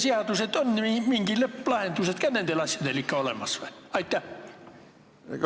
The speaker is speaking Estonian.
Kas on mingid lõpplahendused nendel asjadel ka ikka olemas?